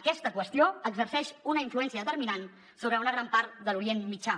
aquesta qüestió exerceix una influència determinant sobre una gran part de l’orient mitjà